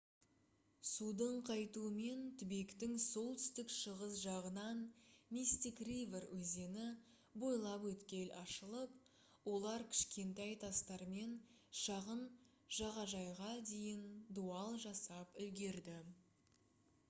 судың қайтуымен түбектің солтүстік-шығыс жағынан мистик ривер өзені бойлап өткел ашылып олар кішкентай тастармен шағын жағажайға дейін дуал жасап үлгерді